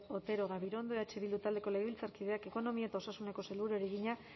otero gabirondo eh bildu taldeko legebiltzarkideak ekonomia eta ogasuneko sailburuari egina